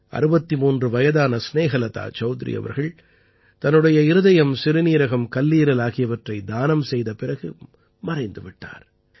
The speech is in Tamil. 63 வயதான ஸ்நேஹலதா சௌத்ரி அவர்கள் தன்னுடைய இருதயம் சிறுநீரகம் கல்லீரல் ஆகியவற்றைத் தானம் செய்த பிறகு மறைந்து விட்டார்